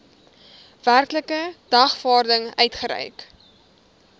werklike dagvaarding uitgereik